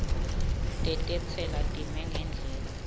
tetentsela time ngendlela